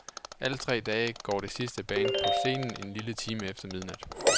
Alle tre dage går det sidste band på scenen en lille time efter midnat.